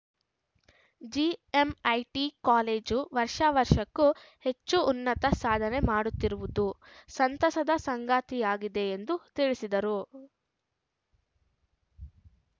GMIT college ವರ್ಷ ವರ್ಷಕ್ಕೂ ಹೆಚ್ಚು ಉನ್ನತ ಸಾಧನೆ ಮಾಡುತ್ತಿರುವುದು ಸಂತಸದ ಸಂಗತಿಯಾಗಿದೆ ಎಂದು ತಿಳಿಸಿದರು